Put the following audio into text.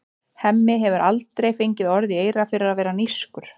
Hemmi hefur heldur aldrei fengið orð í eyra fyrir að vera nískur.